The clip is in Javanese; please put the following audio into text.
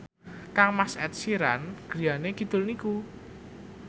kangmas Ed Sheeran griyane kidul niku